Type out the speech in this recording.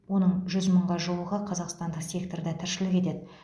оның жүз мыңға жуығы қазақстандық секторда тіршілік етеді